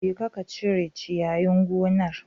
Jeka ka cire ciyayin gonar